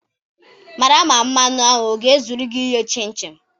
Mara ma mmanụ a ọ ga-ezurugị ighe chin chin echi.